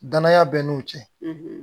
Danaya bɛ n'u cɛ